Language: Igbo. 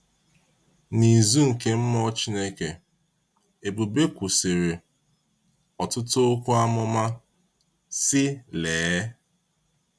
N’ịzu nke mmụọ Chineke, Ebube kwusiri ọtụtụ okwu amụma, sị Lee!